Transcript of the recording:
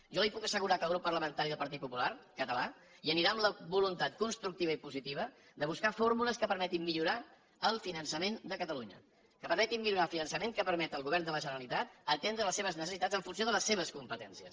jo li puc assegurar que el grup parlamentari del partit popular català hi anirà amb la voluntat constructiva i positiva de buscar fórmules que permetin millorar el finançament de catalunya que permetin millorar el finançament que permet al govern de la generalitat atendre les seves necessitats en funció de les seves competències